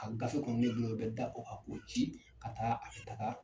A gafe kɔni bɛ min bolo o bɛ da o ka k'o ci ka taa a bɛ taga.